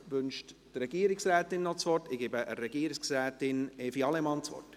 Wünscht die Regierungsrätin das Wort?